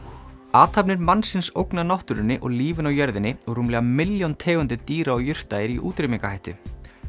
athafnir mannsins ógna náttúrunni og lífinu á jörðinni og rúmlega milljón tegundir dýra og jurta eru í útrýmingarhættu